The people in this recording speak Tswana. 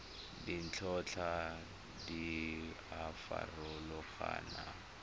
ditlhotlhwa di a farologana go